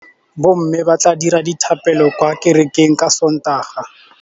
Bommê ba tla dira dithapêlô kwa kerekeng ka Sontaga.